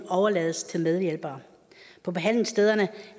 overlades til medhjælpere på behandlingsstederne